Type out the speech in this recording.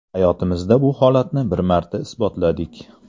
Hayotimizda bu holatni bir marta isbotladik.